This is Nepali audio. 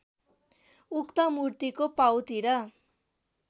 उक्त मूर्तिको पाउतिर